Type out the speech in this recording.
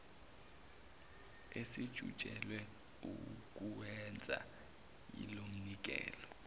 esijutshelwe ukuwenza yilomnikelo